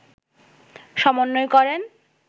সমন্বয় করেন